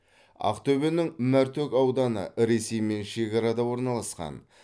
ақтөбенің мәртөк ауданы ресеймен шекарада орналасқан